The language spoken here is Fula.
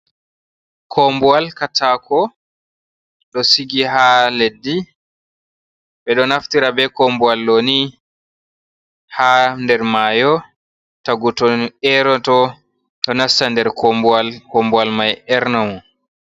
Kombuwal katako ɗo sigi ha leddi. Ɓeɗo naftira be kombuwal ɗo ni ha nder mayo tagu to eroto ɗo nasta nder kombuwal, kombuwal mai erna mo.